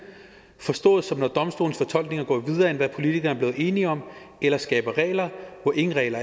forstået som at domstolens fortolkninger går videre end hvad politikerne er blevet enige om eller skaber regler hvor ingen regler